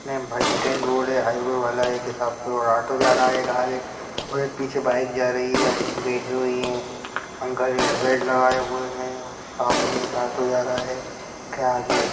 बस stand road है highway वाला ऑटो जा रहा है एक आगे और पीछे एक बाइक जा रही है आंटी बैठी हुई है अंकल हेल्मट लगाए हुए है सामने एक ऑटो जा रहा है के आगे --